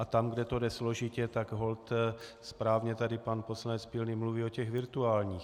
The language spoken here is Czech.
A tam, kde to jde složitě, tak holt správně tady pan poslanec Pilný mluvil o těch virtuálních.